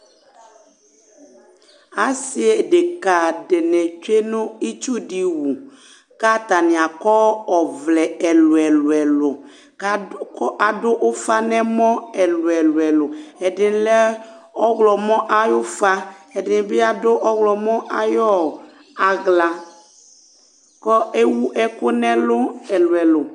Asi ɖeka ɖíni tsue ŋu itsu ɖi wu kʋ ataŋi akɔ ɔvlɛ ɛlʋ ɛlʋ ɛlʋ kʋ aɖu ʋfa ŋu ɛmɔ ɛlʋ ɛlʋ ɛlʋ Ɛdí lɛ ɔwlɔmɔ ayʋ ʋfa Ɛɖìní bi aɖu ɔwlɔmɔ ayʋ aɣla kʋ ɛwu ɛku ŋu ɛlu ɛlʋ ɛlʋ ɛlʋ